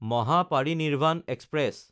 Mahaparinirvan express